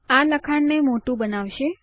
આ લખાણ ને મોટું બનાવશે